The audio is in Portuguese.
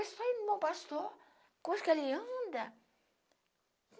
Eu sou irmão pastor, coisa que ali anda.